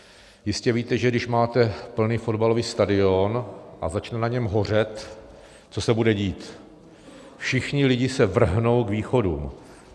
Jistě víte, že když máte plný fotbalový stadion a začne na něm hořet, co se bude dít: všichni lidé se vrhnou k východům.